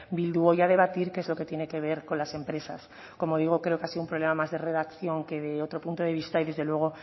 bildu hoy a debatir que es lo que tiene que ver con las empresas como digo creo que ha sido un problema más de redacción que de otro punto de vista y desde luego